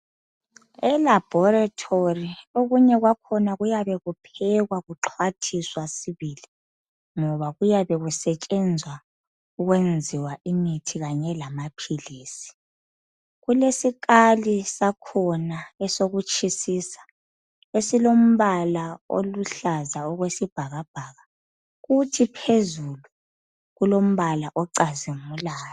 Elabhorethori okunye kwakhona kuyabe kuphekwa kuxhwathiswa sibili, ngoba kuyabe kusetshenzwa ukwenziwa imithi kanye lamaphilisi. Kulesikali sakhona esokutshisisa, esilombala oluhlaza okwesibhakabhaka, kuthi phezulu kulombala ocazimulayo.